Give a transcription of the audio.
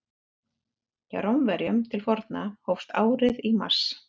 Hjá Rómverjum til forna hófst árið í mars.